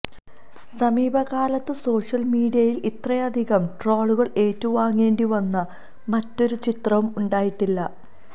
സമീപകാലത്തു social മീഡിയയില് ഇത്രയധികം ട്രോളുകള് ഏറ്റുവാങ്ങേണ്ടി വന്ന മറ്റൊരു ചിത്രവും ഉണ്ടായിട്ടില്ല